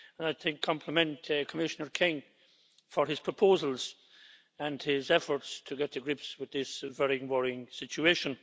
I'd like to compliment Commissioner King for his proposals and his efforts to get to grips with this very worrying situation.